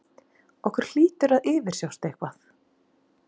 Okkur hlýtur að yfirsjást eitthvað.